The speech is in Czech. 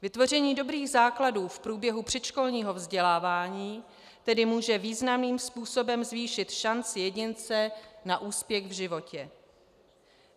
Vytvoření dobrých základů v průběhu předškolního vzdělávání tedy může významným způsobem zvýšit šanci jedince na úspěch v životě.